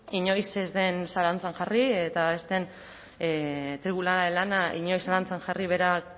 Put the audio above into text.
inoiz zalantzan jarri eta ez den tribunalaren lana inoiz zalantzan jarri bera